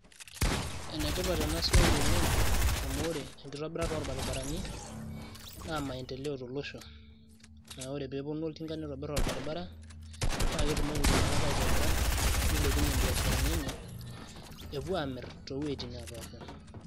enetipat ena siai oleng amu ore enkitobirata oolbaribarani naa maendeleo tolosho naa ore peeponu oltinka nitobirr orbaribara naa ketumoki iltung'anak aitobira nilepunyie imbiasharani enye epuo aamirr toowuejitin neepasha.